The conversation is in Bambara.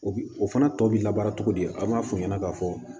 O bi o fana tɔ bi labaara cogo di an m'a fɔ o ɲɛna k'a fɔ